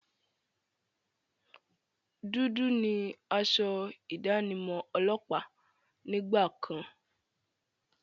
Dúdú ni asọ ìdánimọ̀ ọlọ́pàá nígbà kan.